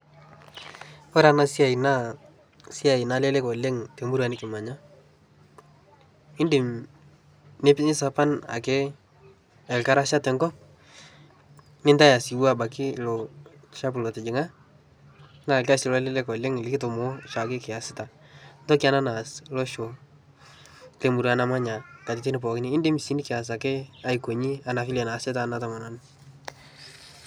Ore ena siai naa esiai nalelek oooleng too murua nikimanya, idim nilepunye sapa ake ekasha teko mitayu apake osiuo ilo shafu lotijinga naa rkasi loleleng oooleng enikitumo oshi ake kiasita toki ena naas losho le murua namanya katiti pooki naa kidim sii nikias apake nena naasita ena tomononi.